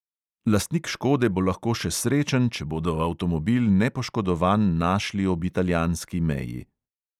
Lastnik škode bo lahko še srečen, če bodo avtomobil nepoškodovan našli ob italijanski meji.